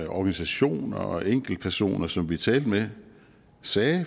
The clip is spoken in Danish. organisationer og enkeltpersoner som vi talte med sagde